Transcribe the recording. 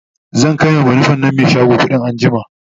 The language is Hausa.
zan kaiwa banufen nan Mai shago kuɗi anjima